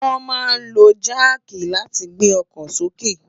Wòn má n ló jàkí làtí gbé òkò sóké